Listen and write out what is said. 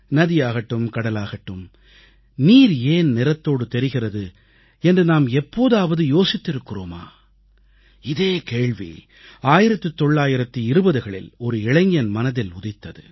நதியாகட்டும் கடலாகட்டும் நீர் ஏன் நிறத்தோடு தெரிகிறது என்று நாம் எப்போதாவது யோசித்திருக்கிறோமா இதே கேள்வி 1920களில் ஒரு இளைஞன் மனதில் உதித்தது